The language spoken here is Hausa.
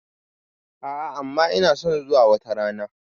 A'a amma ina son zuwa wata rana.